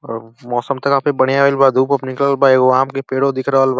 और मौसम त काफी बढ़ियाँ भइल बा। धूप-ओप निकलल बा। एगो आम के पड़ो दिख रहल बा।